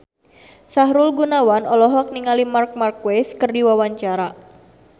Sahrul Gunawan olohok ningali Marc Marquez keur diwawancara